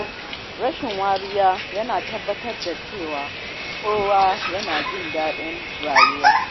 Rashin wariya yana tabbatar da cewa kowa yana jin daɗin rayuwa.